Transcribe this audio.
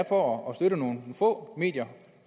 for at støtte nogle få medier